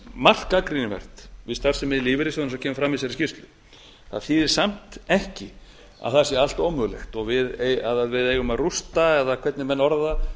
margt gagnrýnivert við starfsemi lífeyrissjóðanna eins og kemur fram í þessari skýrslu það þýðir samt ekki að það sé allt ómögulegt og að við eigum að rústa eða hvernig menn orða það